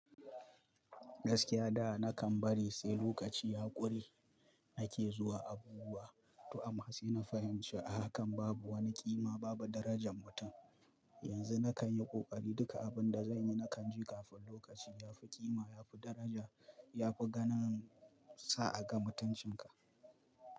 Gaskiya da na kan bari sai lokaci ya ƙure nake zuwa abubuwa to amma sai na fahimci ahakan babu wani ƙima babu darajan mutum. Yanzu na kan yi ƙoƙari duka abun da zan yi na kan je kafin lokaci yafi ƙima yafi daraja yafi ganin sa a ga mutancin ka.